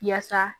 Yaasa